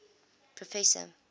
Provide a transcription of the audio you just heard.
proffesor